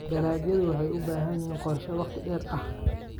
Dalagyadu waxay u baahan yihiin qorshe wakhti dheer ah.